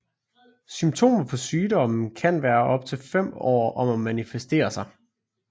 Symptomer på sygdommen kan være op til fem år om at manifestere sig